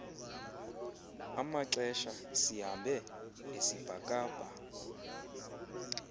amaxesha sihambe esibhakabha